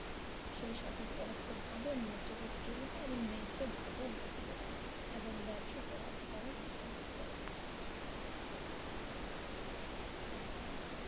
সেই সাথে পরোক্ষ ভাবে ন্যায্য প্রতিযোগিতা এবং ন্যায্য বাজার বিকৃত করে এবং ব্যবসা করার খরচ